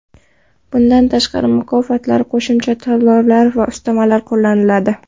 Bundan tashqari, mukofotlar, qo‘shimcha to‘lovlar va ustamalar qo‘llaniladi.